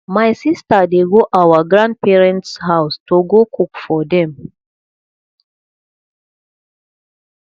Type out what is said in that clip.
my sister dey go our grandparents house to go cook for dem